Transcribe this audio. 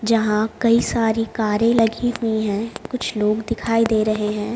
जहाँ कई सारी कारें लगी हुई हैं कुछ लोग दिखाई दे रहे हैं।